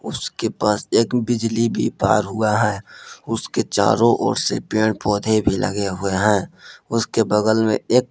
उसके पास एक बिजली भी पार हुआ है उसके चारो ओर से पेड़ पौधे भी लगे हुए हैं उसके बगल में एक--